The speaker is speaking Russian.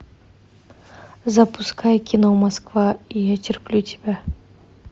запускай кино москва я терплю тебя